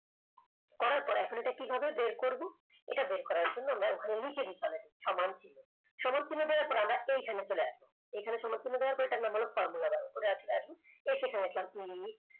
করার পর এখন এটা কিভাবে বের করব এটা বের করার জন্য আমরা ওখানে লিখে দিতে হবে সমান চিহ্ন, সমান চিহ্ন দেওয়ার পর আমরা এখানে চলে আসব এখানে সবার জন্য দেওয়ার পর এটার নাম হল formulabar ওটাই চলে আসুন এসে এখানে লিখলাম e